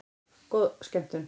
Góða skemmtun!